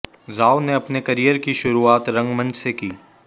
राव ने अपने करियर की शुरुआत रंगमंच से की